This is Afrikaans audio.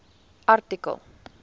artikel